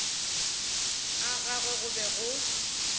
ga gagwe go be go